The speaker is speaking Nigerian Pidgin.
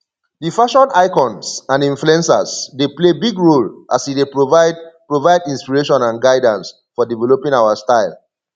di fashion icons and influencers dey play big role as e dey provide provide inspiration and guidance for developing our style